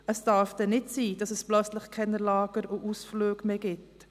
Es darf nicht sein, dass es plötzlich keine Lager und keine Ausflüge mehr gibt.